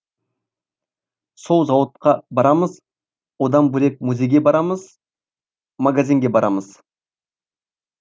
сол зауытқа барамыз одан бөлек музейге барамыз магазинге барамыз